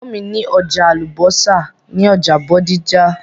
Ẹ̀gbọ́n mi ní ọjà àlùbọ́sà ní ọjà Bódìjà.